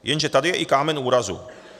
Jenže tady je i kámen úrazu.